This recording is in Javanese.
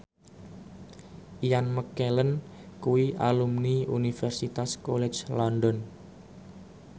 Ian McKellen kuwi alumni Universitas College London